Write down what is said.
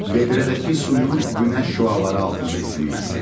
Vedrədəki suyun günəş şüaları altında isinməsi.